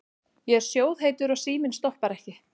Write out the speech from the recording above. Ég er sjóðheitur og síminn stoppar ekki.